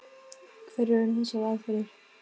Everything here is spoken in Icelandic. Hverjar eru þessar aðferðir?